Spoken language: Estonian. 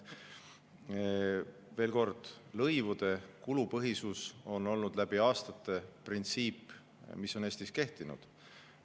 Veel kord, lõivude kulupõhisus on olnud läbi aastate printsiip, mis on Eestis kehtinud.